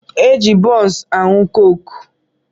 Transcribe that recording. E ji bunsu aṅụ koke